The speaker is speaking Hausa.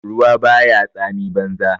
Ruwa ba ya tsami banza